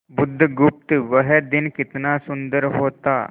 बुधगुप्त वह दिन कितना सुंदर होता